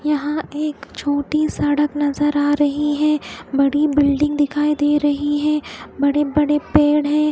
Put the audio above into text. यहा एक छोटी सडक नजर आ रही है बड़ी बिल्डिंग दिखाई दे रही है बड़े बड़े पेड़ है।